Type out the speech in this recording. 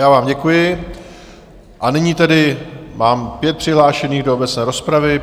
Já vám děkuji, a nyní tedy mám pět přihlášených do obecné rozpravy.